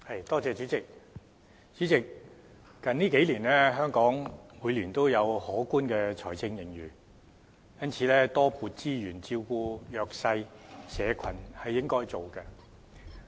代理主席，最近數年香港每年也有可觀的財政盈餘，因此多撥資源照顧弱勢社群是應該做的。